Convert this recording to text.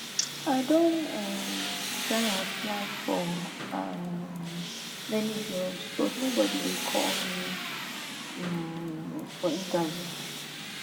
i don um try apply for um many jobs but nobody dey call me um for interview